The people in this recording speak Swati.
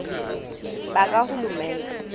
bakahulumende